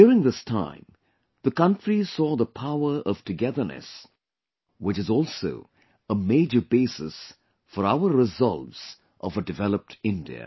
During this time, the country saw the power of togetherness, which is also a major basis for our resolves of a developed India